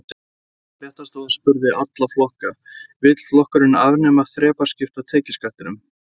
Fréttastofa spurði alla flokka: Vill flokkurinn afnema þrepaskipta tekjuskattinn?